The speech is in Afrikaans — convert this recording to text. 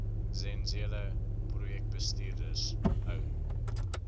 zenzele projekbestuurders hou